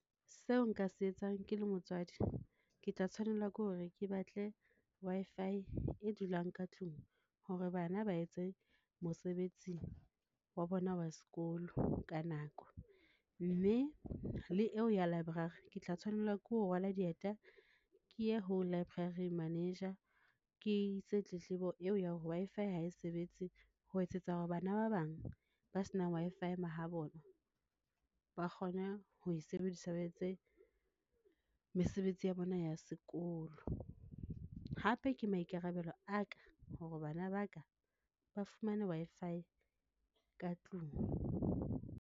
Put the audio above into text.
Seo nka se etsang ke le motswadi, ke tla tshwanela ke hore, ke batle Wi-Fi e dulang ka tlung hore bana ba etse mosebetsi wa bona wa sekolo ka nako. Mme le eo ya library ke tla tshwanela ke ho rwala dieta ke ye ho library manager ke ise tletlebo eo ya hore Wi-Fi ha e sebetse ho etsetsa hore bana ba bang ba senang Wi-Fi mahabona ba kgone ho e sebedisa ba etse mesebetsi ya bona ya sekolo. Hape ke maikarabelo a ka hore bana ba ka ba fumane Wi-Fi ka tlung.